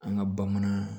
An ka bamanan